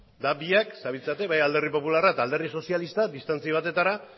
eta biak zabiltzate bai alderdi popularra eta alderdi sozialista distantzia batetara